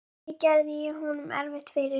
Með því gerði ég honum erfitt fyrir.